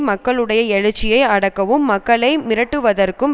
மக்களுடைய எழுச்சியை அடக்கவும் மக்களை மிரட்டுவதற்கும்